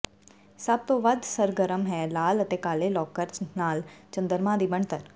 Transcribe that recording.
ਸਭ ਤੋਂ ਵੱਧ ਸਰਗਰਮ ਹੈ ਲਾਲ ਅਤੇ ਕਾਲੇ ਲੌਕਰ ਨਾਲ ਚੰਦਰਮਾ ਦੀ ਬਣਤਰ